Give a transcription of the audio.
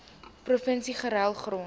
provinsie ruil grond